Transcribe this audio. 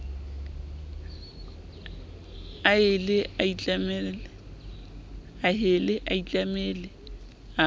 a hele a itlamele a